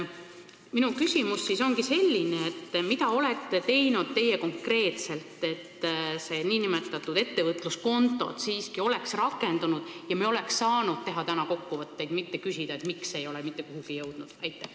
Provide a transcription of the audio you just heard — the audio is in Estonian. Minu küsimus ongi selline: mida olete teie konkreetselt teinud, et ettevõtluskontod oleks siiski praeguseks rakendunud ja me oleks saanud täna teha kokkuvõtteid, mitte küsida, miks ei ole see asi mitte kuhugi jõudnud?